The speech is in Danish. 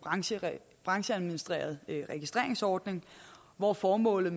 brancheadministreret registreringsordning hvor formålet